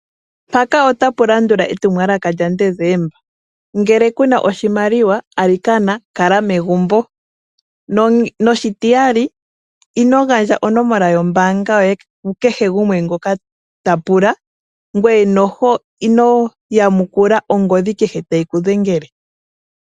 Mpaka otapu landula etumwalaka lyaDecemba. Ngele kuna oshimaliwa alikana kala megumbo. Noshitiyali ino gandja onomola yombaanga yoye ku kehe gumwe ta pula, ngoye ino yamukula ongodhi kehe tayi ku dhengele.